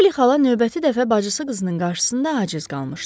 Poli xala növbəti dəfə bacısı qızının qarşısında aciz qalmışdı.